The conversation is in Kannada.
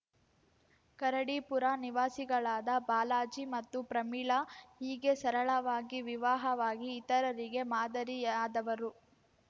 ಕರಡಿಪುರ ನಿವಾಸಿಗಳಾದ ಬಾಲಾಜಿ ಮತ್ತು ಪ್ರಮೀಳಾ ಹೀಗೆ ಸರಳವಾಗಿ ವಿವಾಹವಾಗಿ ಇತರರಿಗೆ ಮಾದರಿಯಾದವರು